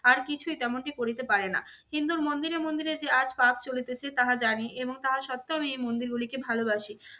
আর কিছুই তেমনটি করিতে পারেনা। হিন্দুর মন্দিরে মন্দিরে যে আজ পাপ চলিতেছে তাহা জানি এবং তাহা সত্ত্বেও আমি এই মন্দিরগুলিকে ভালোবাসি।